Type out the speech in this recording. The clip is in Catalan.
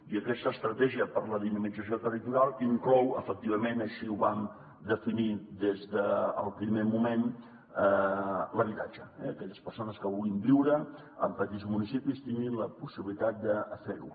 i aquesta estratègia per la dinamització territorial inclou efectivament així ho vam definir des del primer moment l’habitatge que aquelles persones que vulguin viure en petits municipis tinguin la possibilitat de fer ho